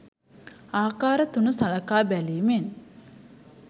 ආකාර තුන සලකා බැලීමෙන්